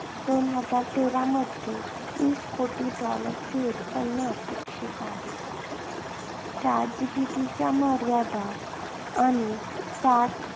दोन हजार तेरामध्ये वीस कोटी dollar चे उत्पन्न अपेक्षित आहे. Chat GPT च्या मर्यादा आणि Chat